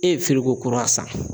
E ye kura san